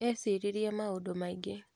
Eciririe maũndũ maingĩ.